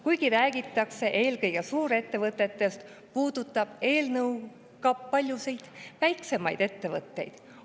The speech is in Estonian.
Kuigi räägitakse eelkõige suurettevõtetest, puudutab eelnõu ka paljusid väiksemaid ettevõtteid.